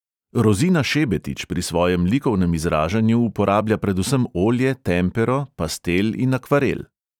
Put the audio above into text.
Rozina šebetič pri svojem likovnem izražanju uporablja predvsem olje, tempero, pastel in akvarel.